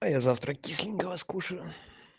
а я завтра кисленького скушаю